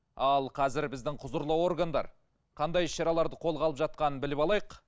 ал қазір біздің құзырлы органдар қандай іс шараларды қолға алып жатқанын біліп алайық